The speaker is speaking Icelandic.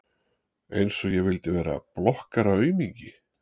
Einsog ég vildi vera blokkaraaumingi!